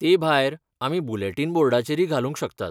ते भायर, आमी बुलेटीन बोर्डाचेरय घालूंक शकतात.